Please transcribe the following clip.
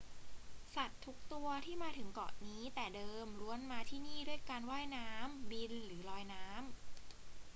สัตว์ทุกตัวที่มาถึงเกาะนี้แต่เดิมล้วนมาที่นี่ด้วยการว่ายน้ำ บิน หรือลอยน้ำ